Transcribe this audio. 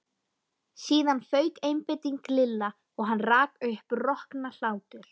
Síðan fauk einbeiting Lilla og hann rak upp roknahlátur.